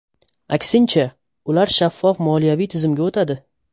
Aksincha, ular shaffof moliyaviy tizimga o‘tadi.